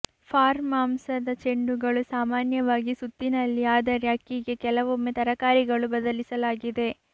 form ಮಾಂಸದ ಚೆಂಡುಗಳು ಸಾಮಾನ್ಯವಾಗಿ ಸುತ್ತಿನಲ್ಲಿ ಆದರೆ ಅಕ್ಕಿಗೆ ಕೆಲವೊಮ್ಮೆ ತರಕಾರಿಗಳು ಬದಲಿಸಲಾಗಿದೆ